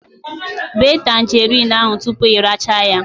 Bee tangerine ahụ tupu ị rachaa ya